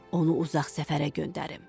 onu uzaq səfərə göndərim.